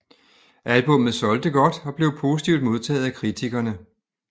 Albummet solgte godt og blev positivt modtaget af kritikerne